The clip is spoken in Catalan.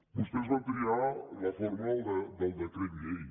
vostès van triar la forma del decret llei